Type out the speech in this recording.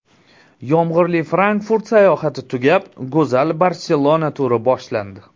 Yomg‘irli Frankfurt sayohati tugab, go‘zal Barselona turi boshlandi.